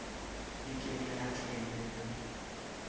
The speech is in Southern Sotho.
le ke le atlehe v